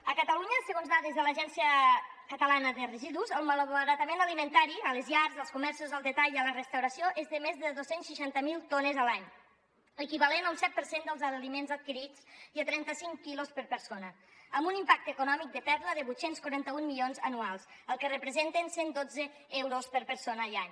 a catalunya segons dades de l’agència catalana de residus el malbaratament alimentari a les llars als comerços al detall i a la restauració és de més de dos cents i seixanta miler tones a l’any l’equivalent a un set per cent dels aliments adquirits i a trenta cinc quilos per persona amb un impacte econòmic de pèrdua de vuit cents i quaranta un milions anuals el que representen cent dotze euros per persona i any